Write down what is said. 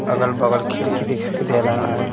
अगल-बगल खिड़की दिखाई दे रहा है।